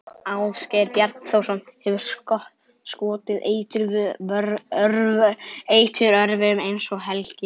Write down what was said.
Ásgeir Bjarnþórsson hefur skotið eiturörvum, eins og Helgi